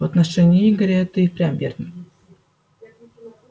в отношении игоря это и впрямь верно